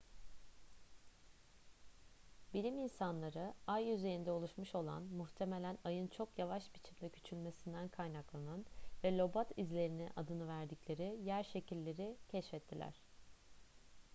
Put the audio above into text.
bilim insanları ay yüzeyinde oluşmuş olan muhtemelen ayın çok yavaş biçimde küçülmesinden kaynaklanan ve lobat izleri adını verdikleri yer şekilleri keşfettiler